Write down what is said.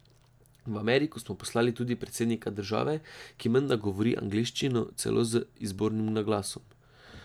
V Ameriko smo poslali tudi predsednika države, ki menda govori angleščino celo z izbornim naglasom.